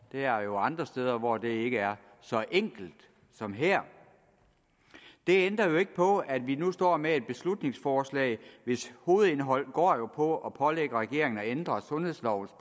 der er jo andre steder hvor det ikke er så enkelt som her det ændrer jo ikke på at vi nu står med et beslutningsforslag hvis hovedindhold går på at pålægge regeringen at ændre sundhedslovens